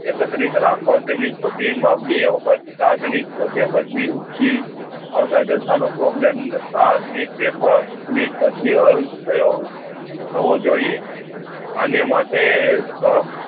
એકત્રિત રાખવા તેમની મા બે વખત તાજ ની ગોવ્ય બચી ઉચી આવત જથા નો problem ને paper કલીપ પછી હલ થયો થવો જોઇએ એને માટે કો